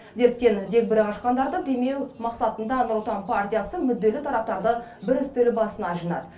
дерттен дегбірі қашқандарды демеу мақсатында нұр отан партиясы мүдделі тараптарды бір үстел басына жинады